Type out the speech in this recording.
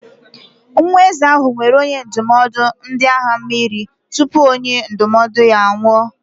Nwa eze ahụ nwere onye ndụmọdụ na ndị agha mmiri tupu onye ndụmọdụ ya anwụọ.